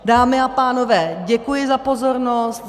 Dámy a pánové, děkuji za pozornost.